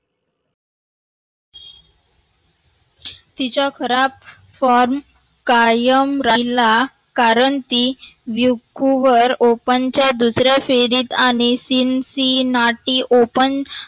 तिचा खाराब form कायम राहिला कारण ती विखूवर open च्या दुसऱ्या आणि Cincinnati open